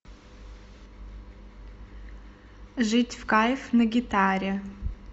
жить в кайф на гитаре